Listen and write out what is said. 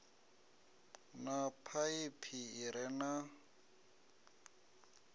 na phaiphi i re na